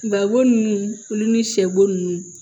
Babo ninnu olu ni sɛ bo nunnu